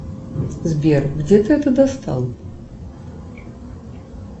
сбер где ты это достал